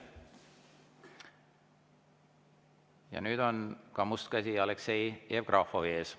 Ja nüüd on must käsi Aleksei Jevgrafovi ees.